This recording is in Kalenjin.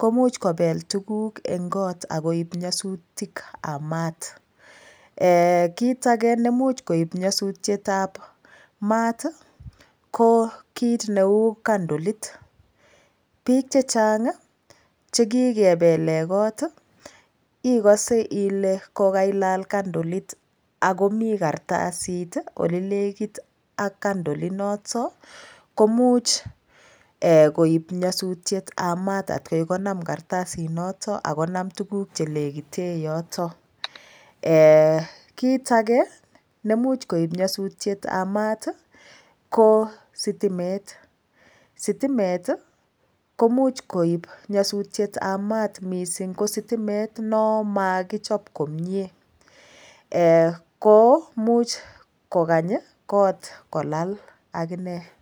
komuch kobel tukuk eng' kot akoib nyosutikab maat kit age nemuch koib nyosutyetab maat ko kiit neu kandolit biik chechang' chekikebele kot ikose ile kokailal kandolit akomi karatasit ole lekit ak kandolit noto komuch koib nyosutyetab maat atkoi konam karatasit noto akomami tuguk chelekite yoto kiit age nemuch koib nyosutyetab maat ko sitimet sitimet komuch koib nyosutyetab maat mising ko sitimet no makichop komyee komuch kokany kot kolal akine